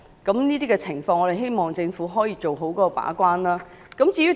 就這些情況，我們希望政府可以做好把關工作。